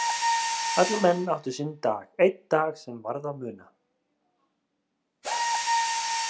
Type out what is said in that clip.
Allir menn áttu sinn dag, einn dag sem varð að muna.